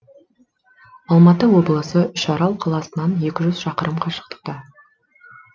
алматы облысы үшарал қаласынан екі жүз шақырым қашықтықта